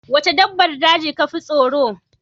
Waca dabbar daji kafi tsaro?